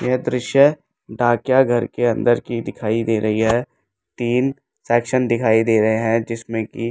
यह दृश्य डाकिया घर के अंदर की दिखाई दे रही है तीन सेक्शन दिखाई दे रहे हैं जिसमें कि --